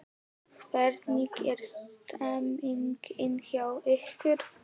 Hvernig er stemmingin hjá ykkur?